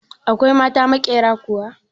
Akwai mata maƙyera kuwa?